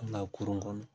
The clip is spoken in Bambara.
An ka kurun kɔnɔ